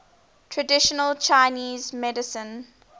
traditional chinese medicine